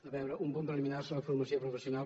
a veure un punt preliminar sobre la formació professional